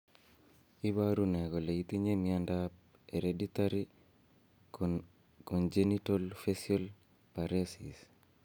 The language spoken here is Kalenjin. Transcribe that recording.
Iporu ne kole itinye miondap Hereditary congenital facial paresis?